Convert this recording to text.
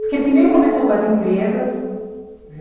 Porque primeiro começou com as empresas, né?